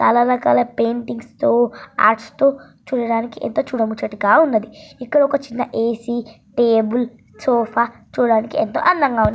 చాలా రకాల పెయింటింగ్స్ తో చూడడానికి చాలా ముచ్చటగా ఉన్నాయి క్కడ ఒక ఏసీ టేబుల్ సోఫా చూడ్డానికి ఎంతో అందం గా ఉంది.